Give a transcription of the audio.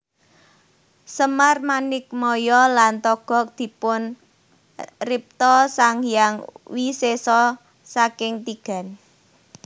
Semar Manikmaya lan Togog dipunripta Sang Hyang Wisesa saking tigan